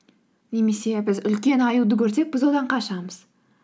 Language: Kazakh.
немесе біз үлкен аюды көрсек біз одан қашамыз